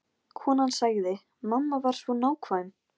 Hann hafði náð því sem hann ætlaði sér.